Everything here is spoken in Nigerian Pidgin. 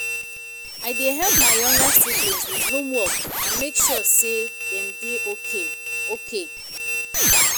I dey help my younger siblings with homework and make sure sey dem dey okay. okay.